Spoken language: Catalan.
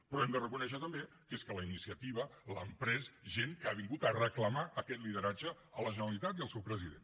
però hem de reconèixer també que és que la iniciativa l’han pres gent que ha vingut a reclamar aquest lideratge a la generalitat i al seu president